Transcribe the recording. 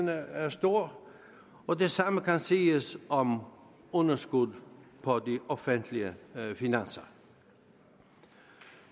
er stor og det samme kan siges om underskuddet på de offentlige finanser